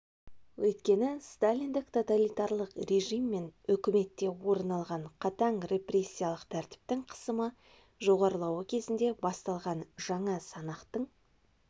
өйткені сталиндік-тоталитарлық режим мен үкіметте орын алған қатаң репрессиялық тәртіптің қысымы жоғарылауы кезінде басталған жаңа санақтың